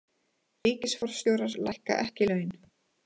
Ríkisforstjórar lækka ekki laun